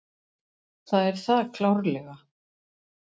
Það er það klárlega.